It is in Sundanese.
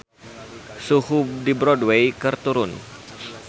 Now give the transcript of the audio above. Suhu di Broadway keur turun